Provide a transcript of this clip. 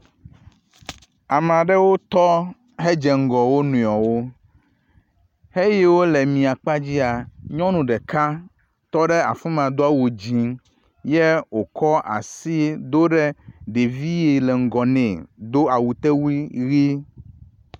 Ame aɖewo tɔ hedze ŋgɔ wo nɔewo heyiwo le miakpadzia. Nyɔnu ɖeka tɔ ɖe afi ma do awu dzi ye wokɔ asi do ɖe ɖevi yi le ŋgɔ ne do awutewui ʋi.